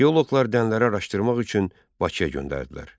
Arxeoloqlar dənələri araşdırmaq üçün Bakıya göndərdilər.